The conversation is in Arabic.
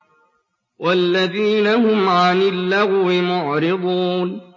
وَالَّذِينَ هُمْ عَنِ اللَّغْوِ مُعْرِضُونَ